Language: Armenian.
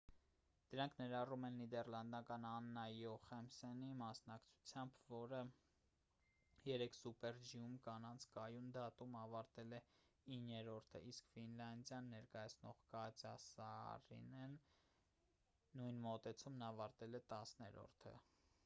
դրանք ներառում են նիդեռլանդներն աննա յոխեմսենի մասնակցությամբ որը երեկ սուպեր ջի-ում կանանց կայուն դասում ավարտել է իններորդը իսկ ֆինլանդիան ներկայացնող կատյա սաարինեն նույն մոտեցումն ավարտել է տասներորդը